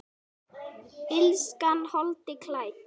Illskan holdi klædd?